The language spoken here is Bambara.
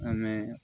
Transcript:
An bɛ